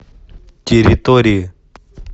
территории